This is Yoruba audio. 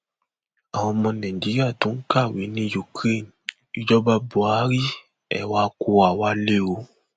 àwọn ọmọ nàìjíríà tó ń kàwé ní ukraine ìjọba buhari ẹ wàá kó wa wálé o